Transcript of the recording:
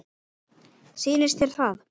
Sýnist þér það?